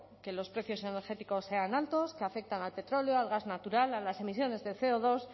que los precios energéticos sean altos que afectan al petróleo al gas natural a las emisiones de ce o dos